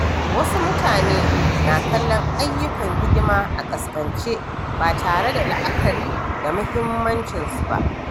Wasu mutane na kallon ayyukan hidima a ƙasƙance, ba tare da la’akari da muhimmancinsu ba.